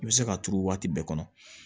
I bɛ se ka turu waati bɛɛ kɔnɔ